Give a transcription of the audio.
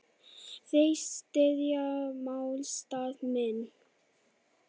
Þeir styðja málstað minn.